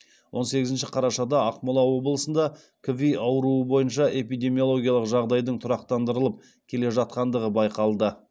он сегізінші қарашада ақмола облысында кви ауруы бойынша эпидемиологиялық жағдайдың тұрақтандырылып келе жатқандығы байқалды